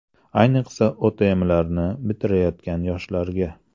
Ayniqsa OTMlarni bitirayotgan yoshlarga.